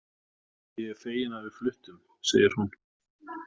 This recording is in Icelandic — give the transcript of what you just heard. Ég er fegin að við fluttum, segir hún.